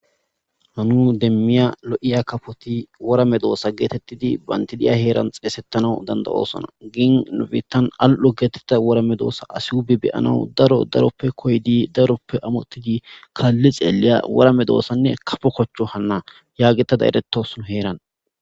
hanu demmiya lo7iya kafoti wora medoosa geetettidi bandidiya heeran xeesettana danda oosona gin nofitan al7o geetetta wora medoosa asihubi beyanau daro daroppe koydi daroppe amottidi kaalli xeelliya wara me doossanne kafo kochcho hanna yaagetada eretos nu heeran